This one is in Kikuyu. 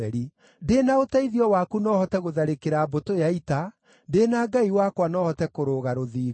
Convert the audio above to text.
Ndĩ na ũteithio waku no hote gũtharĩkĩra mbũtũ ya ita; ndĩ na Ngai wakwa no hote kũrũga rũthingo.